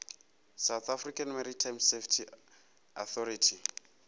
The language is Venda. south african maritime safety authority